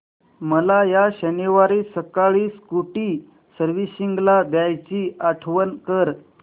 मला या शनिवारी सकाळी स्कूटी सर्व्हिसिंगला द्यायची आठवण कर